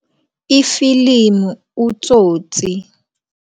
Ifilimu u-Tsotsi.